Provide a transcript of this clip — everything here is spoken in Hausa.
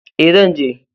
E, zan je.